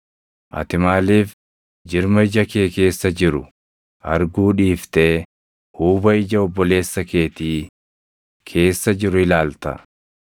“Ati maaliif jirma ija kee keessa jiru arguu dhiiftee huuba ija obboleessa keetii keessa jiru ilaalta?